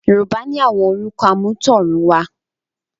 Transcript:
Yorùbá ni àwọn orúkọ àmútọ̀runwá